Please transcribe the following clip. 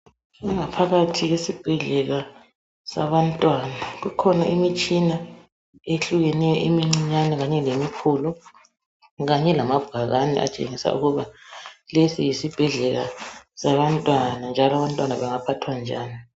Ingaphakathi yesibhedlela sabantwana kukhona imitshina ehlukeneyo emincinyane kanye lemikhulu, kanye lamabhakani atshengisa ukuba lesi yisibhedlela sabantwana, njalo abantwana bangaphathwa njani.